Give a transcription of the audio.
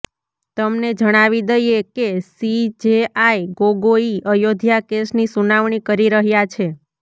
તમને જણાવી દઈએ કે સીજેઆઈ ગોગોઈ અયોધ્યા કેસની સુનાવણી કરી રહ્યા છે